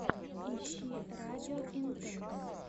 ищи радио интэнс